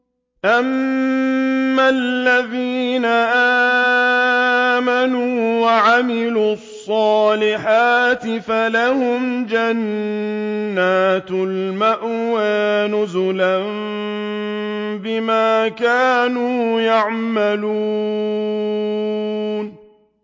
أَمَّا الَّذِينَ آمَنُوا وَعَمِلُوا الصَّالِحَاتِ فَلَهُمْ جَنَّاتُ الْمَأْوَىٰ نُزُلًا بِمَا كَانُوا يَعْمَلُونَ